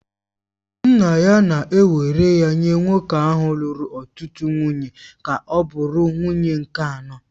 Nna ya na-ewere ya nye nwoke ahụ lụrụ ọtụtụ nwunye ka ọ bụrụ nwunye nke anọ